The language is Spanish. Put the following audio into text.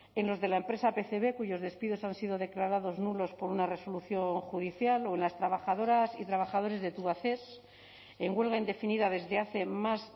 en los de la empresa pcb cuyos despidos han sido declarados nulos por una resolución judicial o en las trabajadoras y trabajadores de tubacex en huelga indefinida desde hace más